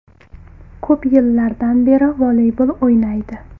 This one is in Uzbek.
Ko‘p yillardan beri voleybol o‘ynaydi.